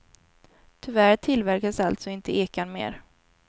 Tyvärr tillverkas alltså inte ekan mer.